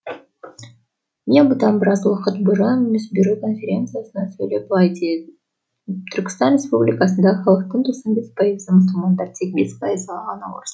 мен бұдан біраз уақыт бұрын мусбюро конференциясында сөйлеп былай дедім түркістан республикасындағы халықтың тоқсан бес пайызы мұсылмандар тек бес пайызы ғана орыс